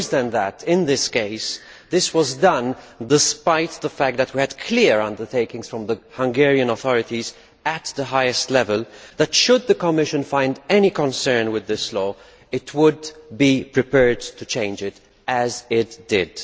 Worse than that in this case, this was done despite the fact that we had a clear undertaking from the Hungarian authorities at the highest level that, should the Commission raise any concerns about this law, they would be prepared to change it, as they did.